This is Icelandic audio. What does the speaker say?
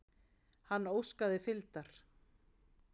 Hann óskaði fylgdar.